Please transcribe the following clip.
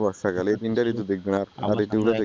বর্ষাকাল এই তিনটা ঋতু দেখবেন আর দেখবেন যে